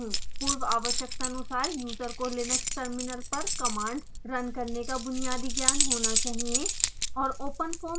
पूर्वआवश्यकतानुसार user को Linux terminal पर commands run करने का बुनियादी ज्ञान होना चाहिए